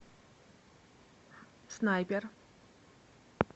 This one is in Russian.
снайпер